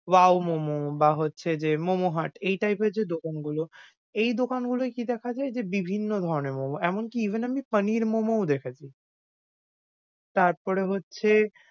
wow momo বা হচ্ছে যে, momo hut এই type এর যে দোকান গুলো, এই দোকান গুলোয় কি দেখা যায় যে বিভিন্ন ধরনের momo এমনকি even আমি পনীর momo ও দেখেছি। তারপরে হচ্ছে,